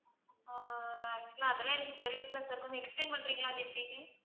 ஆஹ் அதெல்லாம் எனக்கு தெரியலை sir கொஞ்சம் explain பண்றிங்களா? அது எப்படின்னு,